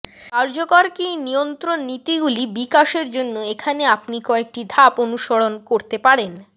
কার্যকর কী নিয়ন্ত্রণ নীতিগুলি বিকাশের জন্য এখানে আপনি কয়েকটি ধাপ অনুসরণ করতে পারেন